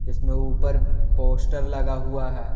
इसमें ऊपर पोस्टर लगा हुआ है।